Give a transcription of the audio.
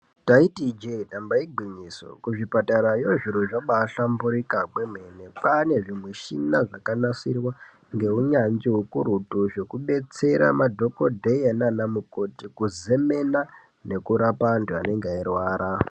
Ndaiti ijee damba igwinyiso, kuzvipatarayo zviro zvabaahlamburuka kwemene. Kaanezvimushina zvakanasirwa ngeunyanzvi hukurutu zvekudetsera madhokodheya naanamukoti kuzemena nekurapa antu anenge eirwara.